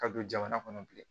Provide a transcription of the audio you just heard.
Ka don jamana kɔnɔ bilen